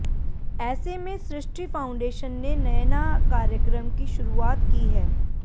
ऐसे में सृष्टि फाउंडेशन ने नयना कार्यक्रम की शुरूआत की है